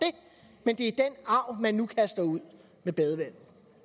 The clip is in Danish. arv man nu kaster ud med badevandet